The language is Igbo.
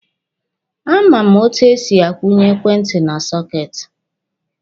A ma m etu e si akwụnye ekwentị na soketi.